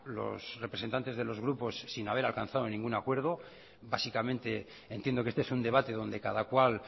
los representantes de los grupos sin haber alcanzado ningún acuerdo básicamente entiendo que este es un debate donde cada cual